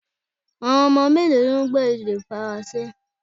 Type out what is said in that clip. Awọn ọmọ melo lo gbọ èdè faranse?